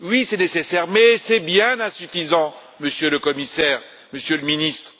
Oui, c'est nécessaire, mais c'est bien insuffisant, Monsieur le Commissaire, Monsieur le Ministre.